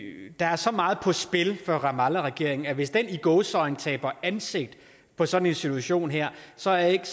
der er så meget på spil for ramallahregeringen at hvis den i gåseøjne taber ansigt på sådan en situation her så er jeg ikke